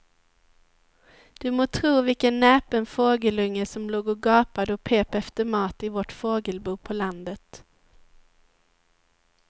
Du må tro vilken näpen fågelunge som låg och gapade och pep efter mat i vårt fågelbo på landet.